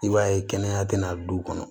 I b'a ye kɛnɛya tɛna du kɔnɔ